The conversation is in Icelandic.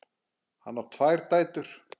Hann á tvær dætur.